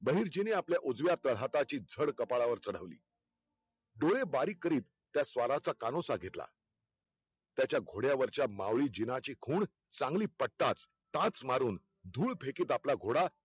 बहिर्जीने आपल्या उजव्या तळहाताची झड कपाळावर चढवली. डोळे बारीक करीत त्या स्वाराचा कानोसा घेतला, त्याच्या घोडयावरच्या माऊळी जीनांची खुण चांगली पटताच टाच मारून धूळ फेकीत आपला घोडा